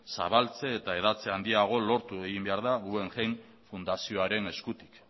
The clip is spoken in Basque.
zabaltze eta hedatze handiagoa lortu egin behar da guggenheim fundazioaren eskutik